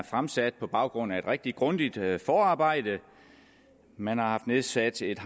fremsat på baggrund af et rigtig grundigt forarbejde man har haft nedsat et